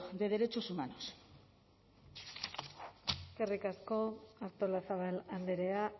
de derechos humanos eskerrik asko artolazabal andrea